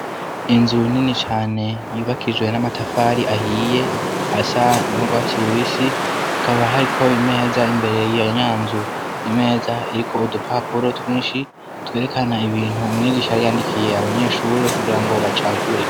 Inzu nini cane yibakijwe n'amatafari ahiye asa ndwa kiruisi kaba hariko imeza imbere y'ayanyanzu imeza iriko udupapuro twinshi twerekana ibintu umwigishaariyandikiye abanyeshuri kugira ngo bacagure.